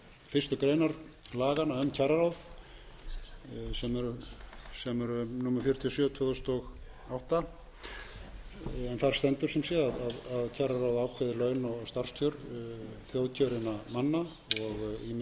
fyrstu grein laganna um kjararáð sem eru númer fjörutíu og sjö tvö þúsund og átta þar stendur sem sé að kjararáð ákveði laun og starfskjör þjóðkjörinna manna og ýmissa annarra eins og menn